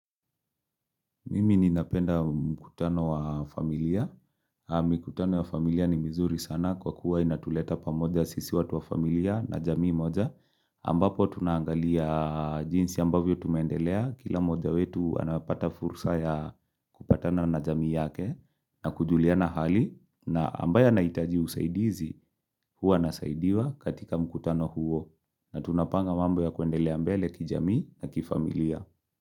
Mimi ninapenda mkutano wa familia. Mikutano wa familia ni mizuri sana kwa kuwa inatuleta pamoja sisi watu wa familia na jamii moja. Ambapo tunaangalia jinsi ambavyo tumeendelea. Kila mmoja wetu anapata fursa ya kupatana na jamii yake na kujuliana hali. Na ambaye anaitaji usaidizi huwa anasaidiwa katika mkutano huo. Na tunapanga mambo ya kuendelea mbele kijamii na kifamilia.